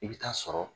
I bɛ taa sɔrɔ